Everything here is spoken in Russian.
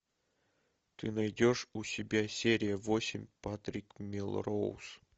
ты найдешь у себя серию восемь патрик мелроуз